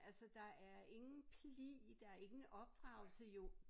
Altså der er ingen pli der ingen opdragelse jo